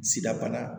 Sida bana